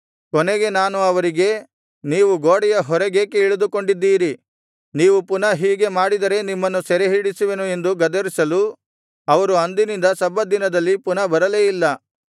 ಕೊನೆಗೆ ನಾನು ಅವರಿಗೆ ನೀವು ಗೋಡೆಯ ಹೊರಗೇಕೆ ಇಳಿದುಕೊಂಡಿದ್ದೀರಿ ನೀವು ಪುನಃ ಹೀಗೆ ಮಾಡಿದರೆ ನಿಮ್ಮನ್ನು ಸೆರೆಹಿಡಿಸುವೆನು ಎಂದು ಗದರಿಸಲು ಅವರು ಅಂದಿನಿಂದ ಸಬ್ಬತ್ ದಿನದಲ್ಲಿ ಪುನಃ ಬರಲೇ ಇಲ್ಲ